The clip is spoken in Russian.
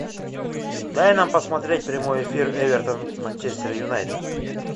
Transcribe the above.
дай нам посмотреть прямой эфир эвертон манчестер юнайтед